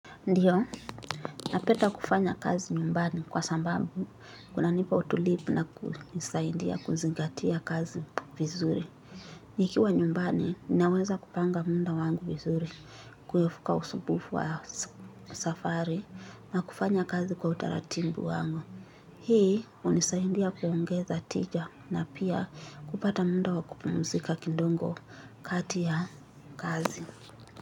Ndiyo, napenda kufanya kazi nyumbani kwa sababu kunanipa utulivu na kunisaidia kuzingatia kazi vizuri. Nikiwa nyumbani, ninaweza kupanga muda wangu vizuri kuepuka usumbufu wa safari na kufanya kazi kwa utaratibu wangu. Hii, hunisaidia kuongeza tija na pia kupata muda wa kupumzika kidogo kati ya kazi.